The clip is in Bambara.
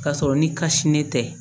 K'a sɔrɔ ni kasi ne tɛ